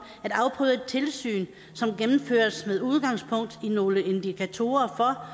at afprøve et tilsyn som gennemføres med udgangspunkt i nogle indikatorer for